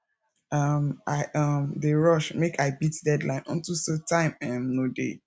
um i um dey rush make i beat deadline unto say time um no dey